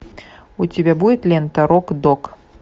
у тебя будет лента рок дог